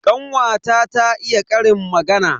Kanwata ta iya ƙarin magana.